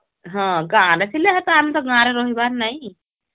ହଁ ଗାଁ ରେ ଥିଲେ ହେନ୍ତା ଆମେ ତ ଗାଁ ରେ ରହିବାର ନାଇଁ